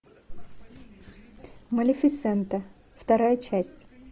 малифисента вторая часть